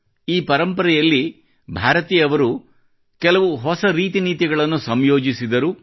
ಈ ಪರಂಪರೆಯಲ್ಲಿ ಭಾರತೀಯವರು ಕೆಲವು ಹೊಸ ರೀತಿನೀತಿಗಳನ್ನು ಸಂಯೋಜಿಸಿದರು